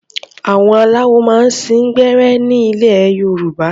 Àwọn aláwo máa ń sín gbẹ́rẹ́ ní ilẹ̀ Yorùbá.